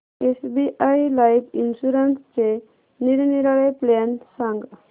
SBI life इन्शुरन्सचे निरनिराळे plan सांग